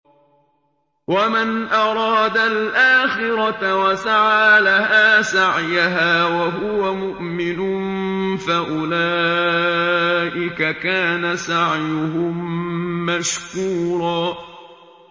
وَمَنْ أَرَادَ الْآخِرَةَ وَسَعَىٰ لَهَا سَعْيَهَا وَهُوَ مُؤْمِنٌ فَأُولَٰئِكَ كَانَ سَعْيُهُم مَّشْكُورًا